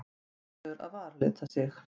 Ákveður að varalita sig.